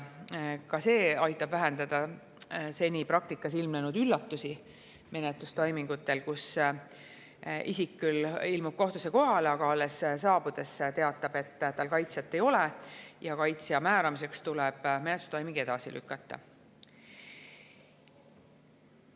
Ka see aitab menetlustoimingute puhul vähendada seni praktikas ilmnenud üllatusi, kus isik küll ilmub kohtusse kohale, aga alles siis teatab, et tal kaitsjat ei ole, ja kaitsja määramiseks tuleb menetlustoiming edasi lükata.